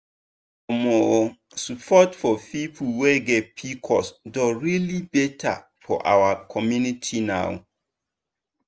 omosupport for people wey get pcos don really better for our community now.